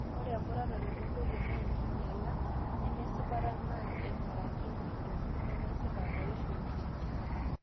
ore emuratare oontoyie naa enkinyala nemesipata naa eigarakini intokitin nemesipa tooishoreitin